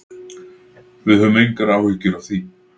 Við höfum engar áhyggjur af því.